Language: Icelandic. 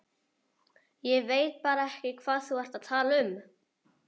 Ég veit bara ekki hvað þú ert að tala um!